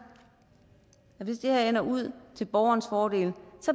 at ender ud til borgerens fordel